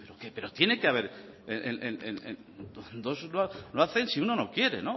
pero tiene que haber dos no hacen si uno no quiere